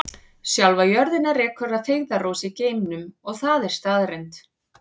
Sjálfa jörðina rekur að feigðarósi í geimnum og það er staðreynd.